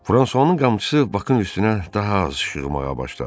Fransuanın qamçısı Bakın üstünə daha az şığımağa başladı.